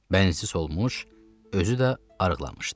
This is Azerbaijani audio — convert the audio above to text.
Bənsiz olmuş, özü də arıqlamışdı.